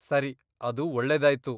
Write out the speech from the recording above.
ಸರಿ, ಅದು ಒಳ್ಳೆದಾಯ್ತು.